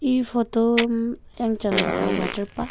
e photo um yangchang ba water park .